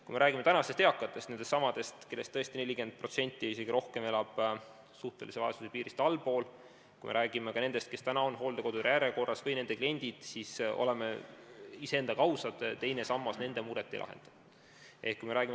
Kui me räägime tänastest eakatest – nendestsamadest, kellest tõesti 40% ja isegi rohkem elab suhtelise vaesuse piirist allpool –, kui me räägime ka nendest, kes on hooldekodu järjekorras või kes on hooldekodude kliendid, siis olgem ausad: teine sammas nende muret ei lahenda.